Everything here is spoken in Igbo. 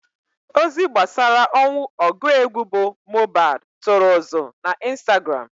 Ozi gbasara ọnwụ ọgụ egwu bụ Mohbad tụrụ ụzụ na Instagram.